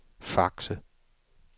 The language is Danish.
Fakse